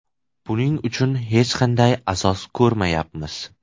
Buning uchun hech qanday asos ko‘rmayapmiz.